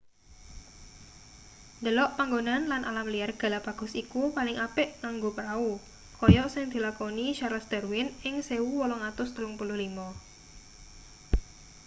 ndelok panggonan lan alam liar galapagos iku paling apik nganggo prau kaya sing dilakoni charles darwin ing 1835